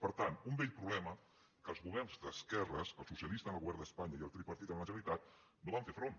per tant un vell problema que els governs d’esquerres el socialista en el govern d’espanya i el tripartit en la generalitat no hi van fer front